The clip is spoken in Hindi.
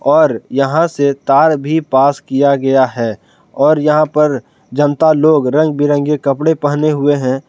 और यहां से तार भी पास किया गया है और यहां पर जनता लोग रंग बिरंगे कपड़े पहने हुए हैं।